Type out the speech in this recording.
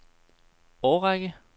årrække